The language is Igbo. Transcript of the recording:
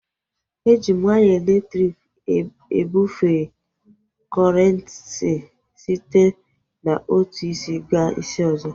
Eji waya elektriki ebufee kọrenti site n'otu isi gaa isi ọzọ